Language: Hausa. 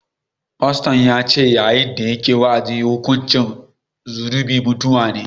Faston ya ce yayin da yake wa’azi cewa hukuncin zunubi mutuwa ne